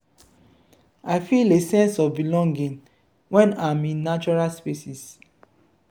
i feel a sense of belonging when i’m in natural spaces.